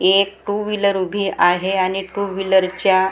एक two wheeler उभी आहे आणि टू व्हीलरच्या --